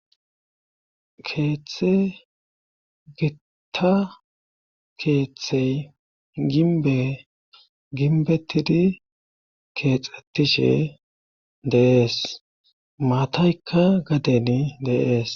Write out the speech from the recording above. Keeththe gitta keeththey ginbe ginbetidi keexxettishe deees maataykka gaden deees.